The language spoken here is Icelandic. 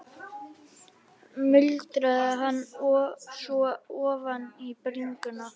Það voru froskdýr, hreistursalamöndrur, sem urðu síðan ríkjandi á kolatímabilinu.